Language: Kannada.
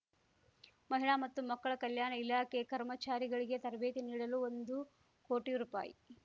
ಮಹಿಳಾ ಮತ್ತು ಮಕ್ಕಳ ಕಲ್ಯಾಣ ಇಲಾಖೆ ಕರ್ಮಚಾರಿಗಳಿಗೆ ತರಬೇತಿ ನೀಡಲು ಒಂದು ಕೋಟಿ ರೂಪಾಯಿ